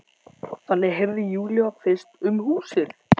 Þannig heyrði Júlía fyrst um húsið.